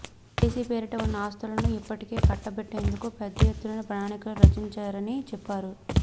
RTC పేరిట ఉన్న ఆస్తులను ఇప్పటికే కట్టబెట్టేందుకు పెద్ద ఎత్తున ప్రణాళికలు రచించారని చెప్పారు